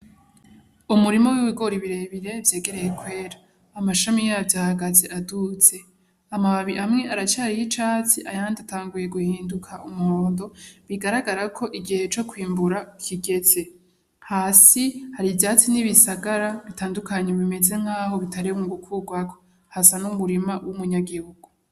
Umurima w'ibigori birebire vyegereye kwera. Amashami yavyo ahagaze aduze. Amababi amwe aracariho icatsi ayandi atanguye guhinduka umuhondo, bigaragara ko igihe co kwimbura kigeze. Hasi hari ivyatsi n'ibisagara bitandukanye bimeze nkaho bitarimwo gukurwako. Hasa n'umurima w'umunyagihugu.